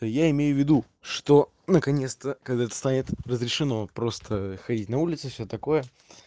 я имею в виду что наконец-то когда это станет разрешено просто ходить на улицу все такое